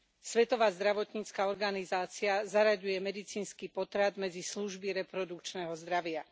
Svetová zdravotnícka organizácia zaraďuje medicínsky potrat medzi služby reprodukčného zdravia.